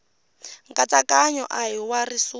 nkatsakanyo a hi wa risuna